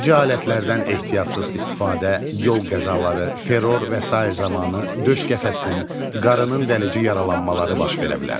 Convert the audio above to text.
Deşici alətlərdən ehtiyatsız istifadə, yol qəzaları, terror və sair zamanı döş qəfəsinin, qarnın dəlici yaralanmaları baş verə bilər.